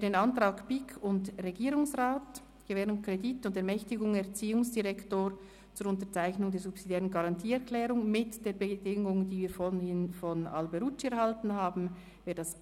Wer den Antrag BiK/Regierungsrat «Gewährung Kredit und Ermächtigung Erziehungsdirektor zur Unterzeichnung der subsidiären Garantieerklärung» mit der Bedingung, die wir vorhin durch den Antrag Alberucci erhalten haben,